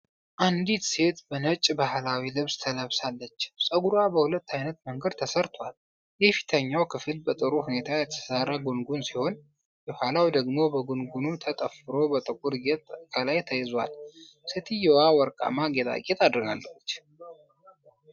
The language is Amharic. አንዲት ሴት በነጭ ባህላዊ ልብስ ለብሳለች፤ ጸጉሯ በሁለት ዓይነት መንገድ ተሰርቷል። የፊተኛው ክፍል በጥሩ ሁኔታ የተሠራ ጉንጉን ሲሆን የኋላው ደግሞ በጉንጉኑ ተጠፍሮ በጥቁር ጌጥ ከላይ ተይዟል። ሴትየዋ ወርቃማ ጌጣጌጥ አድርጋለች።